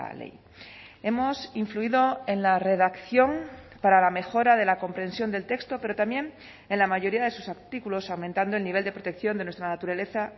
ley hemos influido en la redacción para la mejora de la comprensión del texto pero también en la mayoría de sus artículos aumentando el nivel de protección de nuestra naturaleza